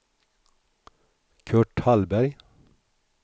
Kurt Hallberg